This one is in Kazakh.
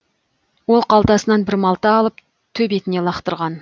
ол қалтасынан бір малта алып төбетіне лақтырған